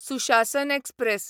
सुशासन एक्सप्रॅस